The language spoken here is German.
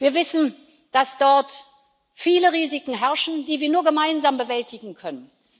Wir wissen, dass es dort viele Risiken gibt, die wir nur gemeinsam bewältigen können.